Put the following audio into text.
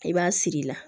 I b'a siri la